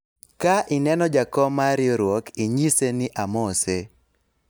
ka ineno jakom mar riwruok , inyise ni amose